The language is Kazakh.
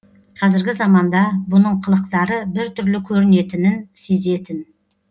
қазіргі заманда бұның қылықтары біртүрлі көрінетінін сезетін